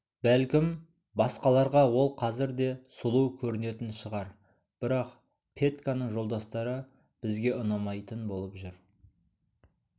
бәлкім басқаларға ол қазір де сұлу көрінетін шығар бірақ петьканың жолдастары бізге ұнамайтын болып жүр